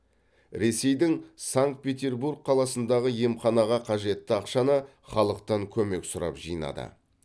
ресейдің санкт петербург қаласындағы емханаға қажетті ақшаны халықтан көмек сұрап жинады